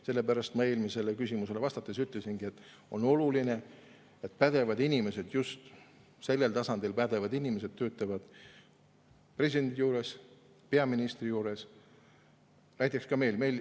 Sellepärast ma eelmisele küsimusele vastates ütlesingi, et on oluline, et pädevad inimesed, just sellel tasandil pädevad inimesed töötavad presidendi juures, peaministri juures, näiteks ka meil.